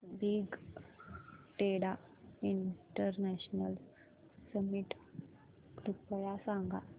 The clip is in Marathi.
बिग डेटा इंटरनॅशनल समिट कृपया सांगा